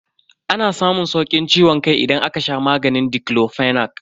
Ana samun saukin ciwon kai idan aka sha maganin diclofenac.